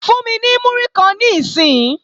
Fún mi ní múrí kan níìsín!